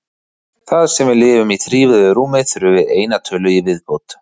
Þar sem við lifum í þrívíðu rúmi þurfum við eina tölu í viðbót.